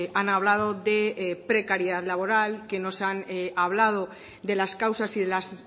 han hablado de precariedad laboral que nos han hablado de las causas y de las